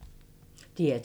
DR2